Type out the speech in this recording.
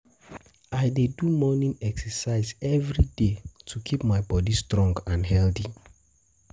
I dey do morning exercise every day to keep my body strong and healthy.